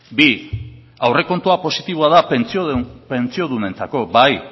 bi aurrekontua positiboa da pentsio duinentzako bai